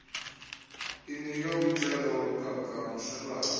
inike umjelo woqhagamshelwano